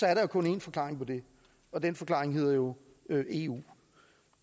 er der kun én forklaring på det og den forklaring hedder jo eu og